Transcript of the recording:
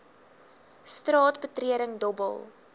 straat betreding dobbel